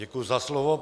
Děkuji za slovo.